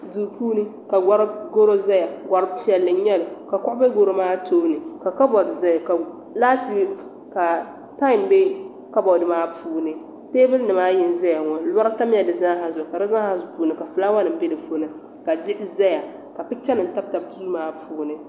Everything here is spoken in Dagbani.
Duu puuni ka garo ʒiya gari piɛlli n nyɛli ka kuɣu be garo maa tooni ka kabod zaya ka tam be kaboti maa puuni teebulinim maa ayi n zaya ŋɔ lɔri tamla di zaa zuɣu ka zaa ha puuni ka fulaawasinima be di puuni ka diɣi zaya ka pichanima tabitabi duu maa puuni.